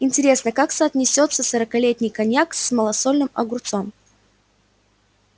интересно как соотнесётся сорокалетний коньяк с малосольным огурцом